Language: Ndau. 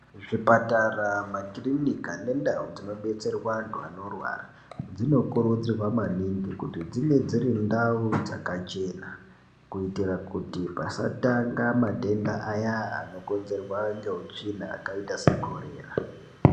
Zvipatara ma kirinika ne ndau dzino detserwa antu ano rwara dzino kurudzirwa maningi kuti dzinge dziri ndau dzaka chena kuitira kuti pasa tanga matenda aya ano konzerwa ngeutsvina akaita se korera.